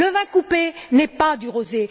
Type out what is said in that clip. Le vin coupé n'est pas du rosé.